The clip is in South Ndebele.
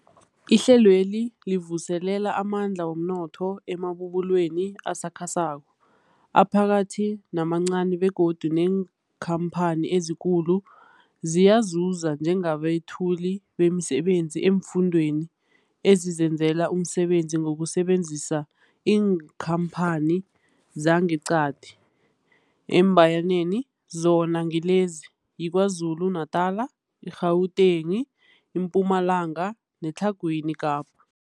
Ihlelweli livuselela amandla womnotho emabubulweni asakhasako, aphakathi namancani begodu neenkhamphani ezikulu ziyazuza njengabethuli bemisebenzi eemfundeni ezizenzela umsebenzi ngokusebenzisa iinkhamphani zangeqadi, eembayaneni, emzona ngilezi, yiKwaZulu-Natala, i-Gauteng, iMpumalanga neTlhagwini Kapa.